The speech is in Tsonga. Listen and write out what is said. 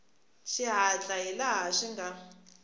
xihatla hi laha swi nga